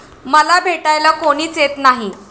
मला भेटायला कोणीच येत नाही.